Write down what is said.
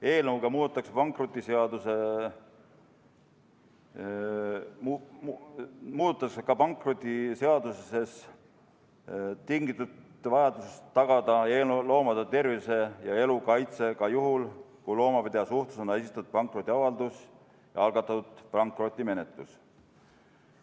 Eelnõuga muudetakse ka pankrotiseadusest tingitud vajadust tagada loomade tervise ja elu kaitse ka juhul, kui loomapidaja suhtes on esitatud pankrotiavaldus ja algatatud pankrotimenetlus.